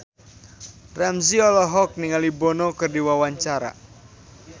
Ramzy olohok ningali Bono keur diwawancara